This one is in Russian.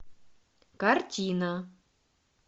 картина